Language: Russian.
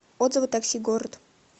отзывы такси город